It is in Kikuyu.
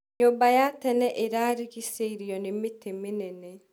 Nyũmba ya tene ĩrarĩgĩcĩirio nĩ mĩtĩ mĩnene.